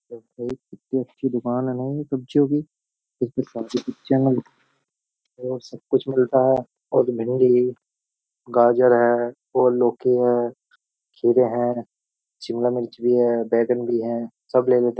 कितनी अच्छी दुकान है न ये सब्जियों की सब कुछ मिलता है और भिंडी गाजर है और लौकी है खीरे हैं शिमला मिर्च भी है बैंगन भी है सब ले लेते --